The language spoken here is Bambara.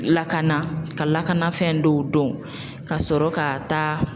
Lakana ka lakanafɛn dɔw dɔn ka sɔrɔ ka taa